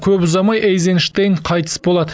көп ұзамай эйзенштейн қайтыс болады